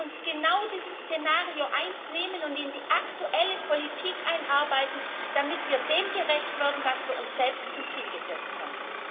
Lassen Sie uns genau dieses Szenario 1 nehmen und in die aktuelle Politik einarbeiten, damit wir dem gerecht werden, was wir uns selbst zum Ziel gesetzt haben.